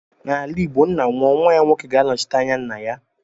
N'ala igbo ńnà nwụọ nwa ya nwoke ga - anọchite anya ńnà ya.